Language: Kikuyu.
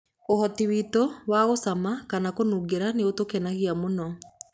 Ũhoti witu wa gũcama kana kũnungĩra nĩ ũtũkenagia mũno.